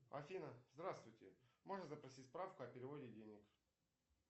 афина здравствуйте можно запросить справку о переводе денег